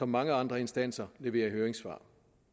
mange andre instanser leverer høringssvar